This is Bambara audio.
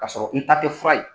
K'a sɔrɔ n ta tɛ fura ye.